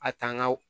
A tanga